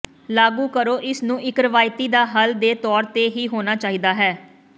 ਲਾਗੂ ਕਰੋ ਇਸ ਨੂੰ ਇੱਕ ਰਵਾਇਤੀ ਦਾ ਹੱਲ ਦੇ ਤੌਰ ਤੇ ਹੀ ਹੋਣਾ ਚਾਹੀਦਾ ਹੈ